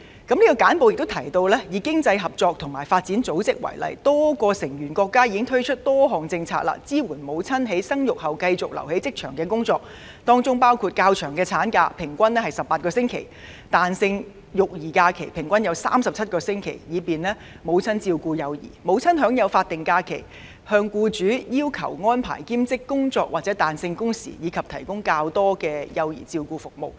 這份簡報也提到，以經濟合作與發展組織為例，多個成員國家已推出多項政策支援母親在生育後繼續留在職場工作，當中包括：較長的產假，平均為18個星期；彈性育兒假期，平均為37個星期，以便母親照顧幼兒；母親所享有法定假期；可要求僱主安排兼職工作或彈性工時，以及提供較多的幼兒照顧服務。